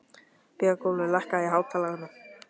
Björgúlfur, lækkaðu í hátalaranum.